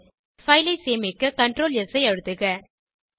file ஐ சேமிக்க CtrlS ஐ அழுத்துக